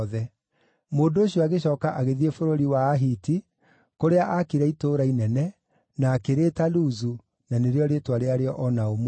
Mũndũ ũcio agĩcooka agĩthiĩ bũrũri wa Ahiti, kũrĩa aakire itũũra inene, na akĩrĩĩta Luzu, na nĩrĩo rĩĩtwa rĩarĩo o na ũmũthĩ.